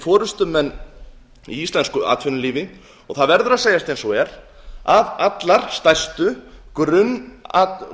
forustumenn í íslensku atvinnulífi og það verður að segjast eins og er að